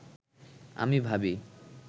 আমি ভাবি